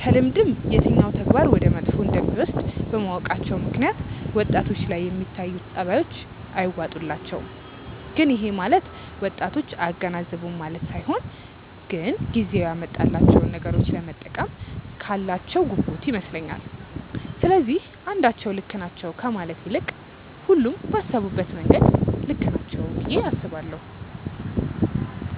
ከልምድም የትኛው ተግባር ወደ መጥፎ እንደሚወስድ በማወቃቸው ምክንያት ወጣቶች ላይ የሚታዩት ጸባዮች አይዋጡላቸውም። ግን ይሄ ማለት ወጣቶች አያገናዝቡም ማለት ሳይሆን ግን ጊዜው ያመጣቸውን ነገሮች ለመጠቀም ካላቸው ጉጉት ይመስለኛል። ስለዚህ አንዳቸው ልክ ናቸው ከማለት ይልቅ ሁሉም ባሰቡበት መንገድ ልክ ናቸው ብዬ አስባለሁ።